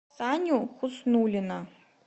саню хуснуллина